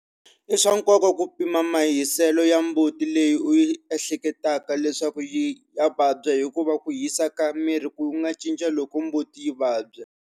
I swa nkoka ku pima mahiselo ya mbuti leyi u ehleketaka leswaku ya vabya hikuva ku hisa ka miri ku nga cinca loko mbuti yi vabya.